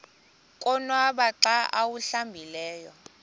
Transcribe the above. konwaba xa awuhlambileyo